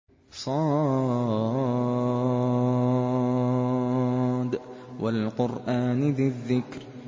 ص ۚ وَالْقُرْآنِ ذِي الذِّكْرِ